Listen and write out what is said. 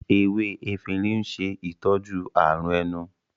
Ewé efirin n ṣe itọju àrùn ẹnu